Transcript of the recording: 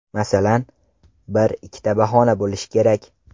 Masalan, bir, ikkita bahona bo‘lishi kerak.